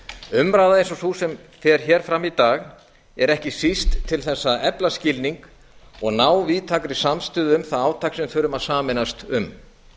umræða eins og sú sem fer hér fram í dag er ekki síst til þess að efla skilning og ná víðtækri samstöðu um það átak sem við þurfum að sameinast um